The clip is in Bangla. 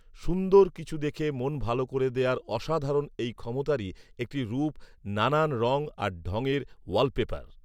সুন্দর কিছু দেখে মন ভালো করে দেয়ার অসাধারণ এই ক্ষমতারই একটি রূপ নানান রং আর ঢং এর ওয়ালপেপার